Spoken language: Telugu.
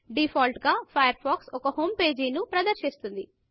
డీఫాల్ట్ గా ఫయర్ ఫాక్స్ ఒక హోమ్ పేజీ ను ప్రదర్శిస్తుంది